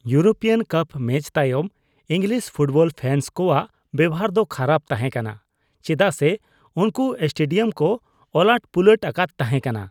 European cup match ᱛᱟᱭᱚᱢ English football fans ᱠᱚᱣᱟᱜ ᱵᱮᱣᱦᱟᱨ ᱫᱚ ᱠᱷᱟᱨᱟᱯ ᱛᱟᱦᱮᱸ ᱠᱟᱱᱟ ᱪᱮᱫᱟᱜ ᱥᱮ ᱩᱱᱠᱩ ᱥᱴᱮᱰᱤᱭᱟᱢ ᱠᱚ ᱚᱞᱟᱹᱴᱼᱯᱩᱞᱟᱹᱴ ᱟᱠᱟᱫ ᱛᱟᱦᱮᱸ ᱠᱟᱱᱟ ᱾